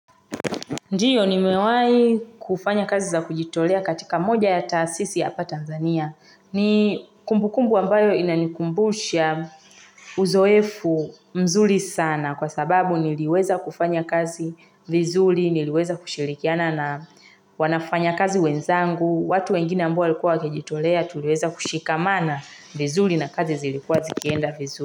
Ndiyo nimewahi kufanya kazi za kujitolea katika moja ya taasisi hapa Tanzania. Ni kumbukumbu ambayo inanikumbusha uzoefu mzuri sana kwa sababu niliweza kufanya kazi vizuri, niliweza kushirikiana na wafanya kazi wenzangu. Watu wengine ambao walikuwa wakijitolea tuliweza kushikamana vizuri na kazi zilikuwa zikienda vizuri.